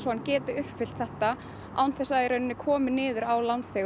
að geta uppfyllt þetta án þess að það komi niður á